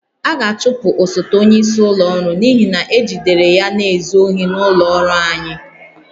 A ga-achụpụ osote onyeisi ụlọ ọrụ n'ihi na ejidere ya na-ezu ohi n'ụlọ ọrụ anyị